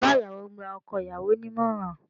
Bàbá ìyàwó ń gba ọkọ ìyàwó ní ìmọ̀ràn